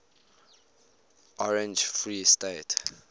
orange free state